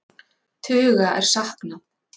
Tuga er saknað